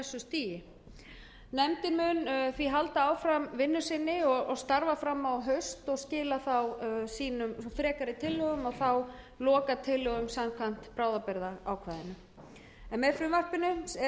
mun því halda áfram vinnu sinni og starfa fram á haust og skila þá frekari tillögum og þá lokatillögum samkvæmt bráðabirgðaákvæðinu með frumvarpinu eru lagðar til